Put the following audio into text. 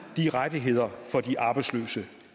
de rettigheder